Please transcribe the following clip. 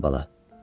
Bura gəl bala.